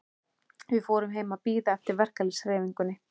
Við fórum heim til að bíða eftir verkalýðshreyfingunni.